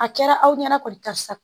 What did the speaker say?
A kɛra aw ɲɛna kɔni karisa